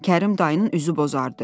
Kərim dayının üzü bozardı.